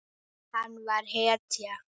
Hann var hetja.